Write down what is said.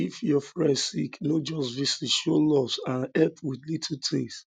if your um friend sick no just visit show love and um help with little things